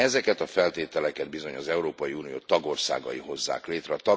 Ezeket a feltételeket bizony az Európai Unió tagországai hozzák létre.